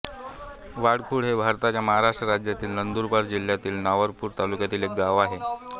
वडखुट हे भारताच्या महाराष्ट्र राज्यातील नंदुरबार जिल्ह्यातील नवापूर तालुक्यातील एक गाव आहे